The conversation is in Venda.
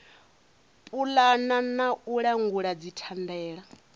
pulana na u langula dzithandela